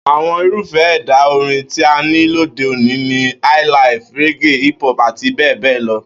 Àwo̩n irúfé̩ è̩dà orin tí a ní lóde òní ni highlife, reggae, hiphop àti bé̩è̩ bé̩è̩ lo